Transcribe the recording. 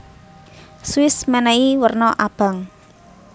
Swiss menehi werna abang